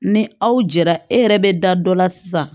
Ni aw jɛra e yɛrɛ bɛ da dɔ la sisan